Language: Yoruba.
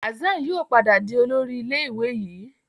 Hassan yíò padà dì Olórí ilé ìwé yí.